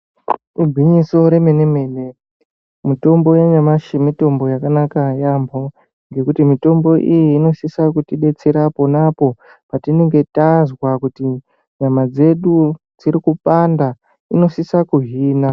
Igwinyiso remene-mene, mitombo yanyamashi mitombo yakanaka yaambho ngekuti mitombo iyi inosisa kutibetsera pona apo patinenge tazwa kuti nyama dzedu dziri kupanda inosisa kuhina.